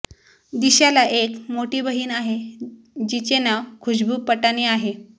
दिशाला एक मोठी बहीण आहे जिचे नाव खुशबू पटानी आहे